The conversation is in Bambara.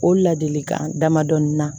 O ladilikan damadɔni na